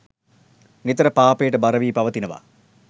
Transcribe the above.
නිතර පාපයට බර වී පවතිනවා.